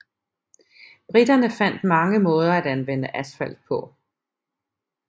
Briterne fandt mange måder at anvende asfalt på